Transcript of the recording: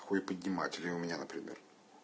хуй поднимать или у меня например